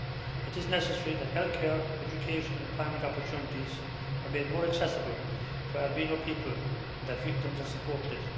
It is necessary that health care, education and employment opportunities are made more accessible to albino people and that victims are supported.